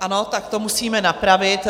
Ano, tak to musíme napravit.